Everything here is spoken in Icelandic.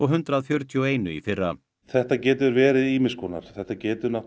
hundrað fjörutíu og einu í fyrra þetta getur verið ýmiss konar þetta getur